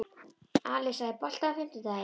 Alisa, er bolti á fimmtudaginn?